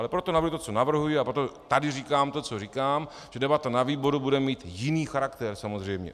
Ale proto navrhuji to, co navrhuji, a proto tady říkám to, co říkám, že debata na výboru bude mít jiný charakter samozřejmě.